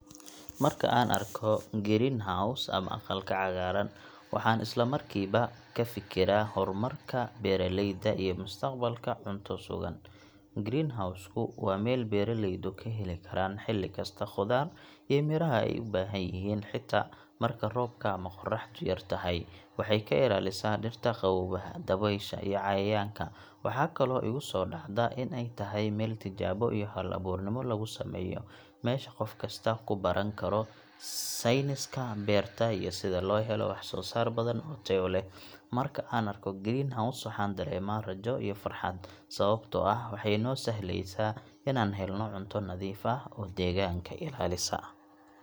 Markaan arko greenhouse ama aqalka cagaaran, waxaan isla markiiba ka fikiraa horumarka beeraleyda iyo mustaqbalka cunto sugan. Greenhouse ku waa meel beeraleydu ka heli karaan xilli kasta khudaar iyo miraha ay u baahan yihiin, xitaa marka roobka ama qoraxdu yartahay. Waxay ka ilaalisaa dhirta qaboobaha, dabaysha iyo cayayaanka. Waxaa kaloo igu soo dhacda in ay tahay meel tijaabo iyo hal-abuurnimo lagu sameeyo meesha qof kasta ku baran karo sayniska beerta iyo sida loo helo wax-soo-saar badan oo tayo leh. Marka aan arko greenhouse, waxaan dareemaa rajo iyo farxad, sababtoo ah waxay noo sahlaysaa inaan helno cunto nadiif ah oo deegaanka ilaalisa.